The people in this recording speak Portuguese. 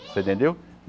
Você entendeu?